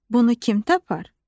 Bunu kim tapar?